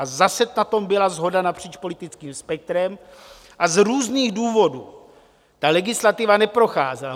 A zase na tom byla shoda napříč politickým spektrem a z různých důvodů ta legislativa neprocházela.